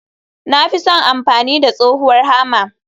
Na fi son amfani da tsohuwar Hammer.